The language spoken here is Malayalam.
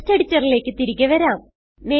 ടെക്സ്റ്റ് എഡിറ്ററിലേക്ക് തിരികെ വരാം